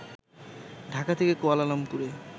ঢাকা থেকে কুয়ালালামপুরে